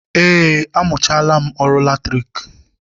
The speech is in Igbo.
Eé, amụchaala m ọrụ latriki